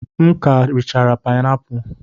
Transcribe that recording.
M ka richara painapulu.